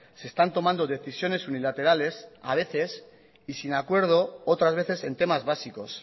se están tomando decisiones unilaterales a veces y sin acuerdo otras veces en temas básicos